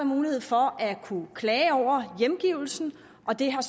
mulighed for at kunne klage over hjemgivelsen og det har